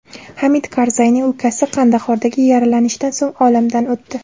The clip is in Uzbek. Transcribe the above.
Hamid Karzayning ukasi Qandahordagi yaralanishdan so‘ng olamdan o‘tdi.